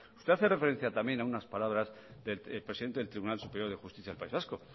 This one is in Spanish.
usted hace referencia también a unas palabras del presidente del tribunal superior de justicia del país vasco